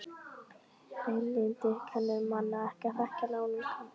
Hreinlyndið kennir manni ekki að þekkja náungann.